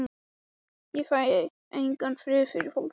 Ég fæ engan frið fyrir fólki.